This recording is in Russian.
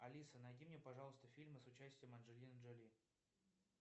алиса найди мне пожалуйста фильмы с участием анджелины джоли